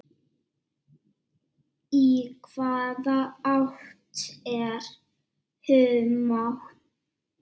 Í hvaða átt er humátt?